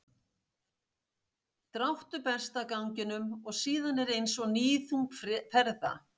dráttur berst af ganginum og síðan er eins og níðþung ferða